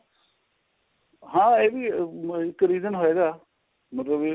ਹਾਂ ਇਹ ਵੀ ਇੱਕ reason ਹੋਏਗਾ ਮਤਲਬ ਵੀ